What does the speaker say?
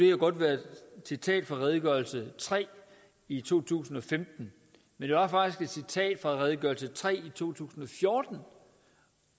jo godt være et citat fra redegørelse tre i to tusind og femten men det var faktisk et citat fra redegørelse nummer tre i to tusind og fjorten